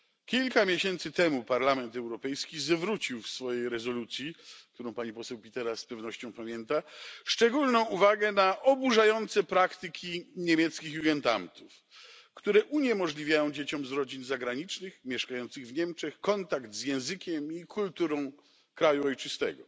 Kilka miesięcy temu Parlament Europejski zwrócił w swojej rezolucji, którą pani poseł Pitera z pewnością pamięta, szczególną uwagę na oburzające praktyki niemieckich Jugendamtów, które uniemożliwiają dzieciom z rodzin zagranicznych mieszkających w Niemczech kontakt z językiem i kulturą kraju ojczystego.